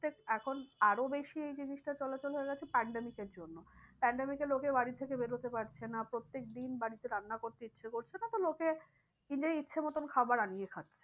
এখন আরো বেশি এই জিনিসটা চলাচল হয়ে গেছে pandemic এর জন্য pandemic এ লোকে বাড়ি থেকে বেরোতে পারছে না প্রত্যেক দিন বাড়িতে রান্না করতে ইচ্ছা করছে না তো লোকে নিজের ইচ্ছা মতো খাবার আনিয়ে খাচ্ছে।